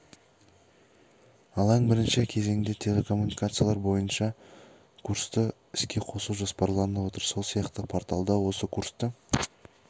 алаң бірінші кезеңде телекоммуникациялар бойыншат курсты іске қосу жоспарланып отыр сол сияқты порталда осы курсты